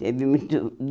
Teve.